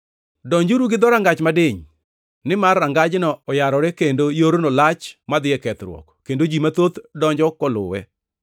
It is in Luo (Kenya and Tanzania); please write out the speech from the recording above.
“Donjuru gi dhorangach madiny. Nimar rangajno oyarore kendo yorno lach madhi e kethruok, kendo ji mathoth donjo koluwe.